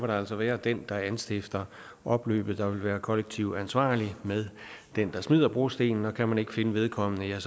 altså være den der anstifter opløbet der vil være kollektiv ansvarlig med den der smider brostenen og kan man ikke finde vedkommende er